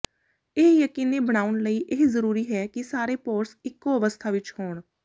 ਇਹ ਯਕੀਨੀ ਬਣਾਉਣ ਲਈ ਇਹ ਜ਼ਰੂਰੀ ਹੈ ਕਿ ਸਾਰੇ ਪੋਰਸ ਇਕੋ ਅਵਸਥਾ ਵਿੱਚ ਹੋਣ